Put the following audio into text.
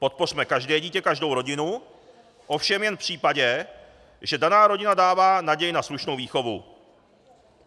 Podpořme každé dítě, každou rodinu, ovšem jen v případě, že daná rodina dává naději na slušnou výchovu.